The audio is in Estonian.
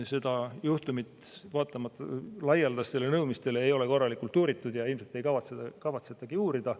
Seda juhtumit vaatamata laialdastele nõudmistele ei ole korralikult uuritud ja ilmselt ei kavatsetagi uurida.